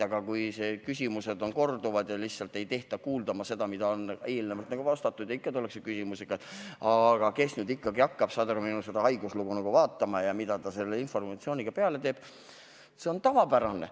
Aga see, kui küsimused on korduvad ja lihtsalt ei tehta kuulmagi, mida on eelnevalt vastatud, ja tullakse jälle küsimusega, et kes nüüd ikkagi hakkab minu haiguslugu vaatama ja mida ta selle informatsiooniga peale hakkab, on tavapärane.